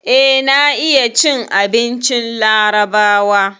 Eh, na iya cin abincin larabawa.